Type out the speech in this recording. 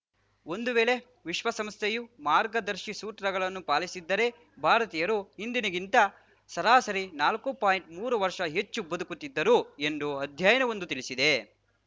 ಒಂದು ವೇಳೆ ವಿಶ್ವಸಂಸ್ಥೆಯು ಮಾರ್ಗದರ್ಶಿಸೂತ್ರಗಳನ್ನು ಪಾಲಿಸಿದ್ದರೆ ಭಾರತೀಯರು ಈಗಿನದಕ್ಕಿಂತ ಸರಾಸರಿ ನಾಲ್ಕು ಪಾಯಿಂಟ್ಮೂರು ವರ್ಷ ಹೆಚ್ಚು ಬದುಕುತ್ತಿದ್ದರು ಎಂದು ಅಧ್ಯಯನವೊಂದು ತಿಳಿಸಿದೆ